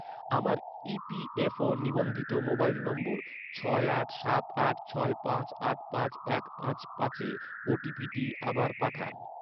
আমার ইপিএফও ​​নিবন্ধিত মোবাইল নম্বর, ছয় আট সাত আট ছয় পাঁচ আট পাঁচ এক পাঁচ পাঁচে ওটিপিটি আবার পাঠান